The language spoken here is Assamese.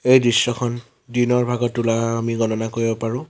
এই দৃশ্যখন দিনৰ ভাগত তোলা আমি গণনা কৰিব পাৰোঁ।